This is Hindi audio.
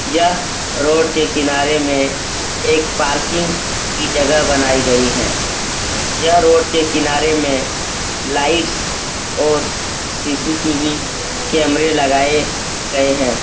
यह रोड के किनारे में एक पार्किंग की जगह बनायी गयी है। यह रोड के किनारे में लाइट्स और सी.सी.टी.वी. कैमरे लगाये गए हैं।